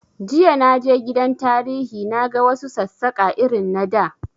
Jiya na je gidan tarihi na ga wa su Sassaƙa irin na da